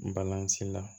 Balolan ci la